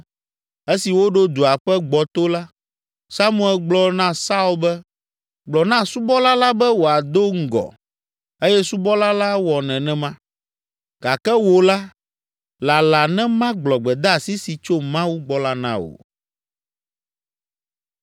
Esi woɖo dua ƒe gbɔto la, Samuel gblɔ na Saul be, “Gblɔ na subɔla la be wòado ŋgɔ” eye subɔla la wɔ nenema. “Gake wò la, lala ne magblɔ gbedeasi si tso Mawu gbɔ la na wò.”